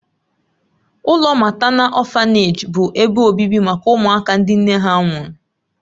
Ụlọ matánal ọ̀fanèji bụ ebe obibi maka ụmụaka ndị nne ha nwụrụ.